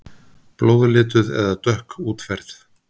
Blóðlituð eða dökk útferð.